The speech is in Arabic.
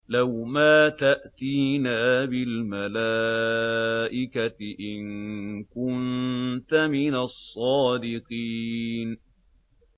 لَّوْ مَا تَأْتِينَا بِالْمَلَائِكَةِ إِن كُنتَ مِنَ الصَّادِقِينَ